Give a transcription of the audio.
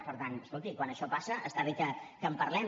per tant escolti quan això passa està bé que en parlem